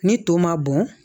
Ni to ma bɔn